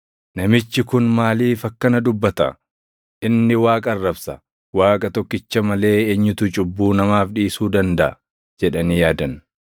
“Namichi kun maaliif akkana dubbata? Inni Waaqa arrabsa! Waaqa tokkicha malee eenyutu cubbuu namaaf dhiisuu dandaʼa?” jedhanii yaadan.